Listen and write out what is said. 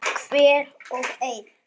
Hver og ein.